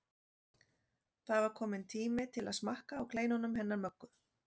Það var kominn tími til að smakka á kleinunum hennar Möggu.